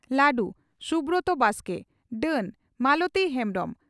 ᱞᱟᱹᱰᱩ (ᱥᱩᱵᱨᱚᱛ ᱵᱟᱥᱠᱮ) ᱰᱟᱹᱱ (ᱢᱟᱞᱚᱛᱤ ᱦᱮᱢᱵᱽᱨᱚᱢ)